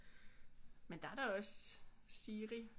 Men der er da også Siri